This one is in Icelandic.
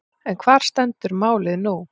En hvar stendur málið nú?